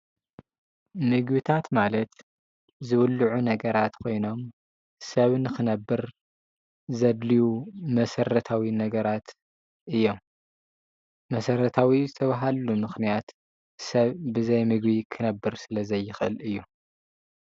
ምግብታት ማለት ዝብልዑ ነገራት ኮይኖም ሰብ ንኽነብር ዘድልዩ መሰረታዊ ነገራት እዮም፡፡ መሰረታዊ ዝተብሃልሉ ምኽንያት ሰብ ብዘይ ምግቢ ክነብር ስለዘይኽእል እዩ፡፡